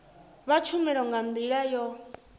vha tshumelo nga ndila yo